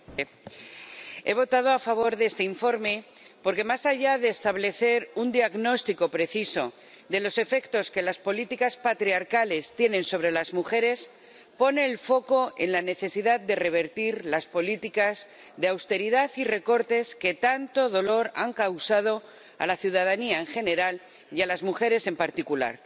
Señor presidente, he votado a favor de este informe porque, más allá de establecer un diagnóstico preciso de los efectos que las políticas patriarcales tienen sobre las mujeres, pone el foco en la necesidad de revertir las políticas de austeridad y recortes que tanto dolor han causado a la ciudadanía en general y a las mujeres en particular.